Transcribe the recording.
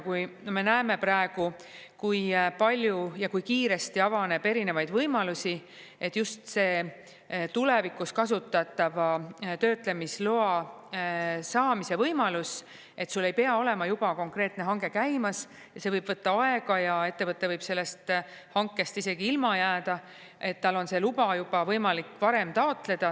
Kui me näeme praegu, kui palju ja kui kiiresti avaneb erinevaid võimalusi, et just see tulevikus kasutatava töötlemisloa saamise võimalus, et sul ei pea olema juba konkreetne hange käimas ja see võib võtta aega ja ettevõte võib sellest hankest isegi ilma jääda, et tal on see luba juba võimalik varem taotleda.